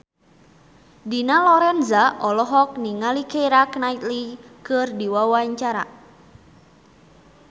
Dina Lorenza olohok ningali Keira Knightley keur diwawancara